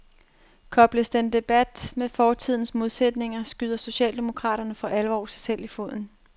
Kobles den debat med fortidens modsætninger skyder socialdemokraterne for alvor sig selv i foden.